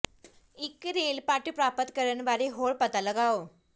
ਇੱਕ ਰੇਲ ਪਟ ਪ੍ਰਾਪਤ ਕਰਨ ਬਾਰੇ ਹੋਰ ਪਤਾ ਲਗਾਓ